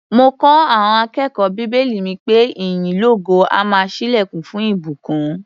Mo kọ́ àọn akẹ́kọ̀ó bíbélì mi pé ìyìn lógo á máa ṣílẹ̀kùn fún ìbùkún.